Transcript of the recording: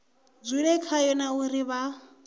dzule khayo na uri vha